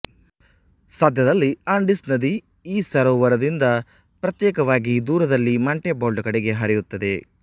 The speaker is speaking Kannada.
ಸದ್ಯದಲ್ಲಿ ಆಂಡೀಸ್ ನದಿ ಈ ಸರೋವರದಿಂದ ಪ್ರತ್ಯೇಕವಾಗಿ ದೂರದಲ್ಲಿ ಮಾಂಟೆಬಾಲ್ಡೊ ಕಡೆಗೆ ಹರಿಯುತ್ತದೆ